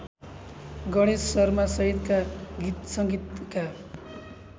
गणेश शर्मासहितका गीतसंगीतका